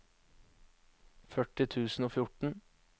førti tusen og fjorten